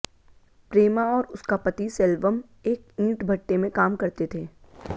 प्रेमा और उसका पति सेल्वम एक र्इंट भट्टे में काम करते थे